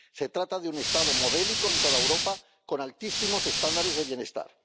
Se trata de un Estado modélico en toda Europa, con altísimos estándares de bienestar.